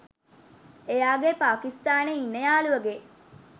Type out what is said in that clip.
එයාගේ පාකිස්තානේ ඉන්න යාළුවගේ